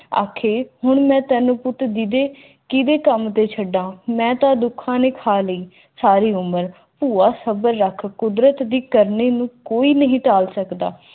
ਆਖੇ ਹੁਣ ਮੈਂ ਤੈਨੂੰ ਪੁੱਤ ਦੀ ਦੇ ਕੀਤੇ ਕੰਮ ਦੇ ਛੱਡਾਂ ਮੈਂ ਤਾਂ ਦੁੱਖਾਂ ਨਾਲ ਹੀ ਕੁਦਰਤ ਦੀ ਕਰਨੀ ਨੂੰ ਕੋਈ ਨਹੀਂ ਤਾਲ ਸਕਦਾ